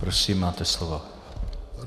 Prosím, máte slovo.